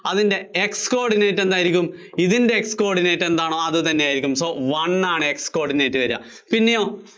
അതിന്‍റെ X coordinate എന്തായിരിക്കും? ഇതിന്‍റെ X coordinate എന്താണോ അതുതന്നെയായിരിക്കും. so one ആണ് X coordinate വര്വ, പിന്നെയോ